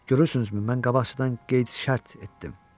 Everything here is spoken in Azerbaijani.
Görürsünüzmü, mən qabaqcadan qeyd-şərt etdim.